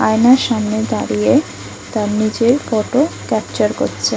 আয়নার সামনে দাঁড়িয়ে তার নিজের ফটো ক্যাপচার করছে।